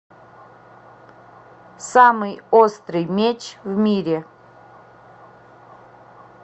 самый острый меч в мире